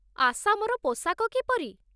ଆସାମର ପୋଷାକ କିପରି?